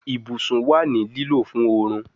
Ibusun wa ni lilo fun orun